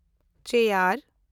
chair